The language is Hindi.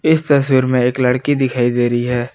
इस तस्वीर में एक लड़की दिखाइ दे रही है।